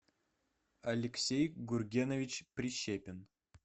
алексей гургенович прищепин